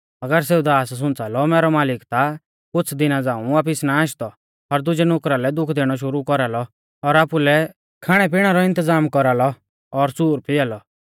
अगर सेऊ दास सुंच़ा लौ मैरौ मालिक ता कुछ़ दिना झ़ांऊ वापिस ना आशदौ और दुजै नुकरा लै दुःख दैणौ शुरु कौरालौ और आपुलै खाणै पिणै रौ इन्तज़ाम कौरालौ और सूर पिआ लौ